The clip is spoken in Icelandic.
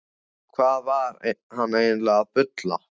Hvað var hann eiginlega að bulla?